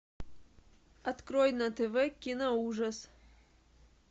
открой на тв киноужас